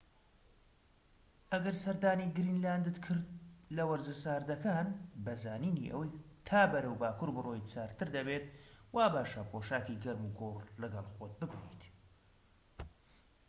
ئەگەر سەردانی گرینلاندت کرد لە وەرزە ساردەکاندا بە زانینی ئەوەی تا بەرەو باكوور بڕۆیت، ساردتر دەبێت وا باشە پۆشاکی گەرموگوڕ لەگەڵ خۆت ببەیت